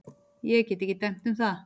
Ég get ekki dæmt um það.